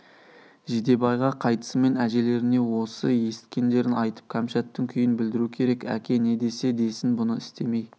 жидебайға қайтысымен әжелеріне осы есіткендерін айтып кәмшаттың күйін білдіру керек әке не десе десін бұны істемей